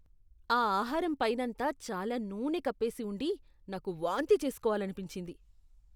ఆ ఆహారం పైనంతా చాలా నూనె కప్పేసి ఉండి నాకు వాంతి చేసుకోవాలనిపించింది.